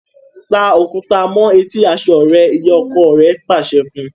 Ta Òkúta mọ eti aṣọ rẹ! ìyá ọkọ rà pàṣẹ fún.